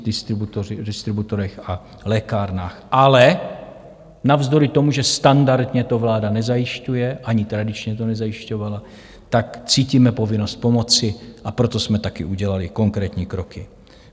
Ale navzdory tomu, že standardně to vláda nezajišťuje, ani tradičně to nezajišťovala, tak cítíme povinnost pomoci, a proto jsme taky udělali konkrétní kroky.